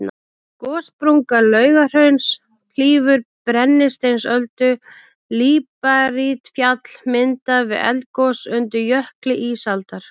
Gossprunga Laugahrauns klýfur Brennisteinsöldu, líparítfjall myndað við eldgos undir jökli ísaldar.